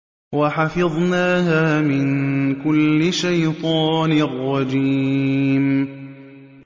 وَحَفِظْنَاهَا مِن كُلِّ شَيْطَانٍ رَّجِيمٍ